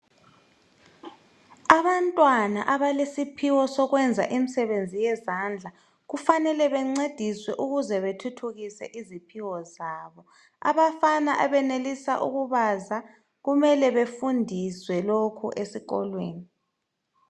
Abantwana abalesiphiwo sokwenza imisebenzi yezandla , kufanele bencediswe ukuze bethuthukise iziphiwo zabo. Abafana abenelisa ukubazo kumele befundiswe lokho esikolweni.